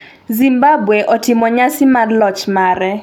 Zimbabwe otimo nyasi mar loch mare